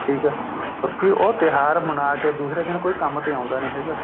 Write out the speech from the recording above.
ਠੀਕ ਹੈ ਬਾਕੀ ਉਹ ਤਿਉਹਾਰ ਮਨਾ ਕੇ ਦੂਸਰੇ ਦਿੰਨ ਕੋਈ ਕੰਮ ਤੇ ਆਉਦਾ ਨਹੀਂ ਹੈਗਾ